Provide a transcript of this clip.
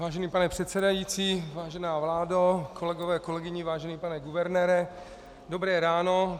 Vážený pane předsedající, vážená vládo, kolegové, kolegyně, vážený pane guvernére, dobré ráno.